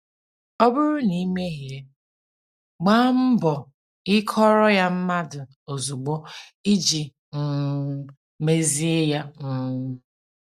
Ọ bụrụ na i mehie, gbaa mbọ ikọọrọ ya mmadụ ozugbo iji um mezie ya. um